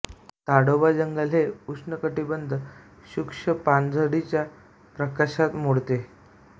ताडोबा जंगल हे उष्णकटिबंधीय शुष्क पानझडीच्या प्रकारात मोडते